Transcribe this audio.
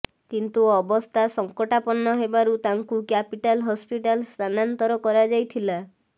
କିନ୍ତୁ ଅବସ୍ଥା ସଂକଟାପନ୍ନ ହେବାରୁ ତାଙ୍କୁ କ୍ୟାପିଟାଲ ହସ୍ପିଟାଲ ସ୍ଥାନାନ୍ତର କରାଯାଇଥିଲା